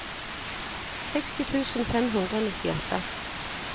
seksti tusen fem hundre og nittiåtte